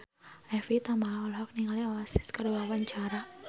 Evie Tamala olohok ningali Oasis keur diwawancara